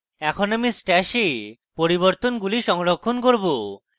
এখন আমি stash a পরিবর্তনগুলি সংরক্ষণ করব